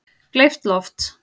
Gleypt loft